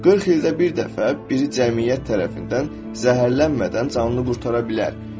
40 ildə bir dəfə biri cəmiyyət tərəfindən zəhərlənmədən canını qurtara bilər.